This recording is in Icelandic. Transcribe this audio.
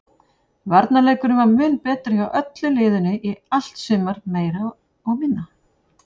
Varnarleikurinn var mun betri hjá öllu liðinu í allt sumar meira og minna.